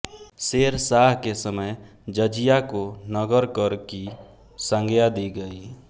शेरशाह के समय जजिया को नगरकर की संज्ञा दी गयी